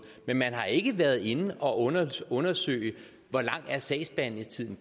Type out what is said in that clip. men man har ikke været inde og undersøge hvor lang sagsbehandlingstiden